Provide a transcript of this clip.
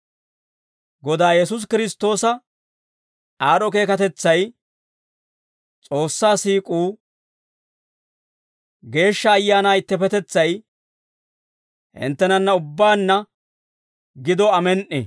Godaa Yesuusi Kiristtoosa aad'd'o keekatetsay, S'oossaa siik'uu, Geeshsha Ayaanaa ittippetetsay hinttenanna ubbaanna gido. Amen"i.